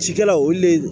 Cikɛlaw olu le